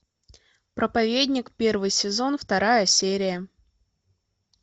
проповедник первый сезон вторая серия